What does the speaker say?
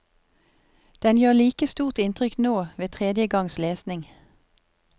Den gjør like stort inntrykk nå, ved tredje gangs lesning.